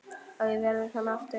Að við verðum aftur saman.